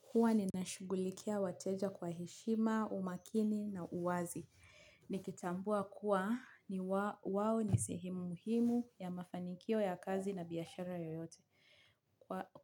Huwa ninashughulikia wateja kwa heshima, umakini na uwazi. Nikitambua kuwa ni wao ni sehemu muhimu ya mafanikio ya kazi na biashara yoyote.